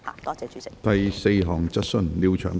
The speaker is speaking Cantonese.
第四項質詢。